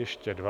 Ještě dva...